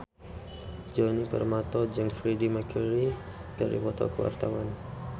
Djoni Permato jeung Freedie Mercury keur dipoto ku wartawan